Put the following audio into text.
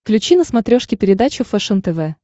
включи на смотрешке передачу фэшен тв